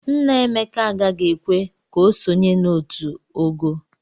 Nna Emeke agaghị ekwe ka o sonye na otu o ogoo.